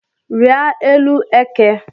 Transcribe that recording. Rịa élú eke